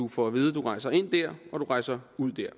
får at vide at du rejser ind der og du rejser ud der